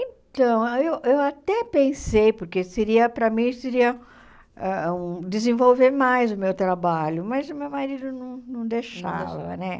Então, eu eu até pensei, porque seria para mim seria ah hum desenvolver mais o meu trabalho, mas o meu marido não não deixava, né?